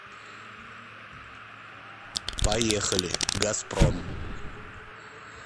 поехали газпром